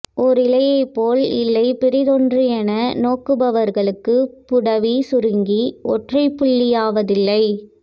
ஓர் இலைபோல் இல்லை பிறிதொன்று என நோக்குபவளுக்கு புடவி சுருங்கி ஒற்றைப்புள்ளியாவதில்லை